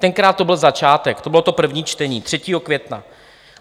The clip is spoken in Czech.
Tenkrát to byl začátek, to bylo to první čtení - 3. května.